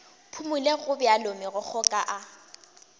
phumole gobjalo megokgo ka a